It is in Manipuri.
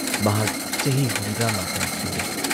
ꯃꯍꯥꯛ ꯆꯍꯤ ꯍꯨꯝꯗ꯭ꯔꯥꯃꯥꯄꯟ ꯁꯨꯔꯦ ꯫